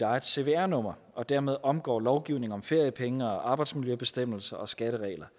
eget cvr nummer og dermed omgår lovgivningen om feriepenge arbejdsmiljøbestemmelser og skatteregler